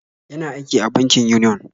Yana aiki a bankin Union.